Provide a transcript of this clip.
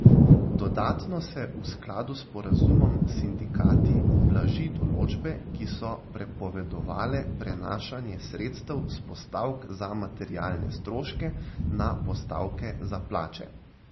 Dodatno se v skladu s sporazumom s sindikati blaži določbe, ki so prepovedovale prenašanje sredstev s postavk za materialne stroške na postavke za plače.